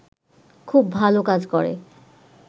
খুব ভালো কাজ করে